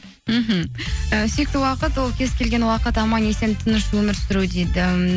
мхм і сүйікті уақыт ол кез келген уақыт аман есен тыныш өмір сүру дейді